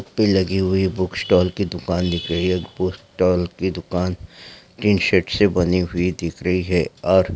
भीड़ लगी हुई बुक स्टॉले की दुकान दिख रही हे बुक स्टॉले की दुकान टिन शेड से बनी हुई दिख रही है और--